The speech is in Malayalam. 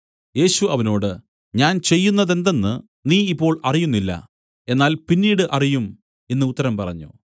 യേശു അവനോട് ഞാൻ ചെയ്യുന്നതെന്തെന്ന് നീ ഇപ്പോൾ അറിയുന്നില്ല എന്നാൽ പിന്നീട് അറിയും എന്നു ഉത്തരം പറഞ്ഞു